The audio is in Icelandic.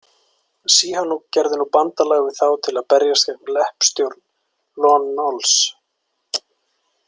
Sihanouk gerði nú bandalag við þá til að berjast gegn leppstjórn Lon Nols.